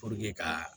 ka